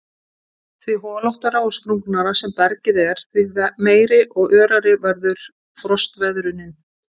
Því holóttara og sprungnara sem bergið er því meiri og örari verður frostveðrunin.